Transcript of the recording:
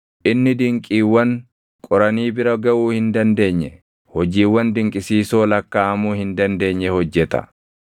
Inni dinqiiwwan qoranii bira gaʼuu hin dandeenye, hojiiwwan dinqisiisoo lakkaaʼamuu hin dandeenye hojjeta.